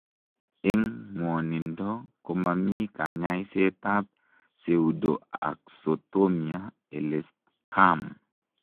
Eng ngwonindoo komamii kanyaiseet ap Pseudoxatomia elestkam.